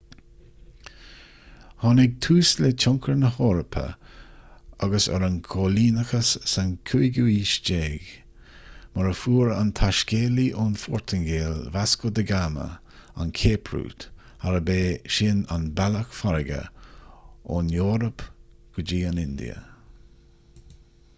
tháinig tús le tionchar na heorpa agus ar an gcoilíneachas sa 15ú haois mar a fuair an taiscéalaí ón phortaingéil vasco da gama an cape route arb é sin an bealach farraige ón eoraip go dtí an india